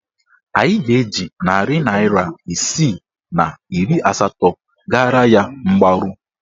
Anyị ga-eji narị naịra isii na iri asatọ gara ya mgbaru.